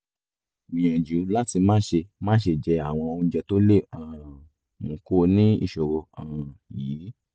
gbìyànjú láti máṣe máṣe jẹ àwọn oúnjẹ tó lè um mú kó o ní ìṣòro um yìí